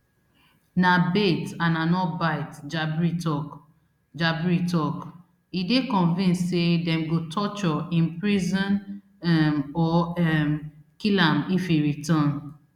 na bait and i no bite jabri tok jabri tok e dey convinced say dem go torture imprison um or um kill am if e return